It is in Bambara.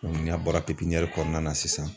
n'a bɔra kɔnɔna na sisan.